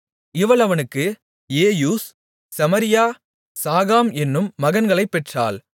இவள் அவனுக்கு Jeush Shemariah Zaham என்னும் மகன்களைப் பெற்றாள்